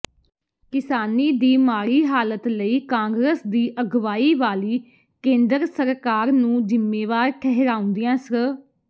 ਕਿਸਾਨੀ ਦੀ ਮਾੜੀ ਹਾਲਤ ਲਈ ਕਾਂਗਰਸ ਦੀ ਅਗਵਾਈ ਵਾਲੀ ਕੇਂਦਰ ਸਰਕਾਰ ਨੂੰ ਜਿੰਮੇਵਾਰ ਠਹਿਰਾਉਂਦਿਆਂ ਸ੍ਰ